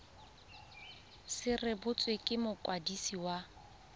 se rebotswe ke mokwadisi wa